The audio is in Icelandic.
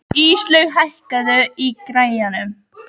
Íslaug, hækkaðu í græjunum.